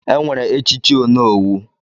Enwere echichi onowu.